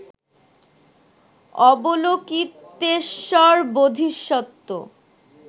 Avalokiteshvara Bodhisattva